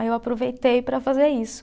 Aí eu aproveitei para fazer isso.